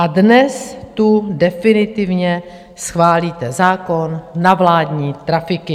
A dnes tu definitivně schválíte zákon na vládní trafiky.